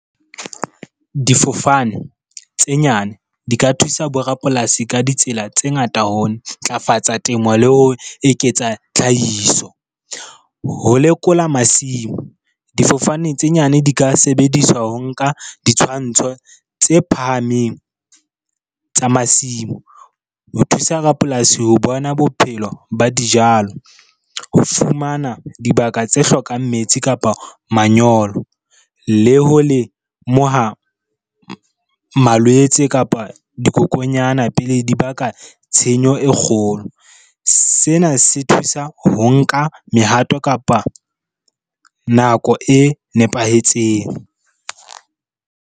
Difofane tse nyane di ka thusa bo rapolasi ka ditsela tse ngata ho ntlafatsa temo le ho eketsa tlhahiso. Ho lekola masimo, difofane tse nyane di ka sebediswa ho nka ditshwantsho tse phahameng tsa masimo ho thusa rapolasi ho bona bophelo ba dijalo, ho fumana dibaka tse hlokang metsi kapa manyolo, le ho lemoha malwetse kapa dikokonyana pele di baka tshenyo e kgolo. Sena se thusa ho nka mehato, kapa nako e nepahetseng.